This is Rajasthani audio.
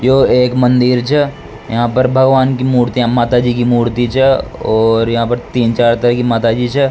यो एक मंदिर छ यहां पर भगवान की मूर्तियां माता जी की मूर्ति छ और यहां पर तीन चार तरह की माताजी छ।